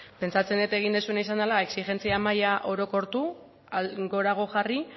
pentsatzen dut egin duzuena izan dela exijentzia maila orokortu gorago jarri